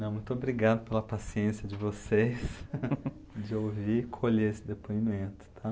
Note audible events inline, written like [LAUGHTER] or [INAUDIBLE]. Não, muito obrigado pela paciência de vocês, [LAUGHS] de ouvir e colher esse depoimento, tá?